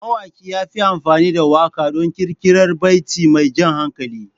Mawaƙin ya yi amfani da waƙa don ƙirƙirar baiti mai jan hankali.